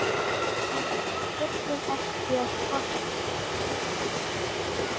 Við þurfum ekki að kvarta.